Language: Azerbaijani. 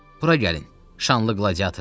Bura gəlin, şanlı qladiatorlar.